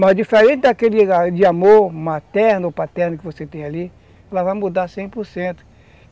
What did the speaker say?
Mas diferente daquele amor materno ou paterno que você tem ali, ela vai mudar cem por certo.